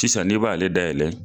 Tisan i b'a ale dayɛlɛ